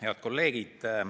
Head kolleegid!